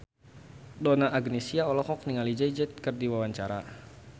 Donna Agnesia olohok ningali Jay Z keur diwawancara